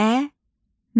Əməl.